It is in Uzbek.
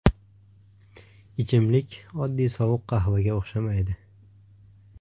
Ichimlik oddiy sovuq qahvaga o‘xshamaydi.